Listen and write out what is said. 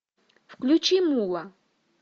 включи мула